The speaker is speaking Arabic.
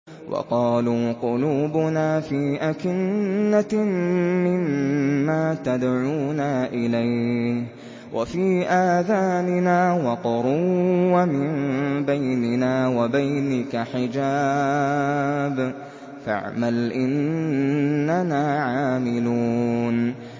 وَقَالُوا قُلُوبُنَا فِي أَكِنَّةٍ مِّمَّا تَدْعُونَا إِلَيْهِ وَفِي آذَانِنَا وَقْرٌ وَمِن بَيْنِنَا وَبَيْنِكَ حِجَابٌ فَاعْمَلْ إِنَّنَا عَامِلُونَ